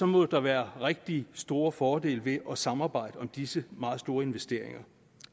må der være rigtig store fordele ved at samarbejde om disse meget store investeringer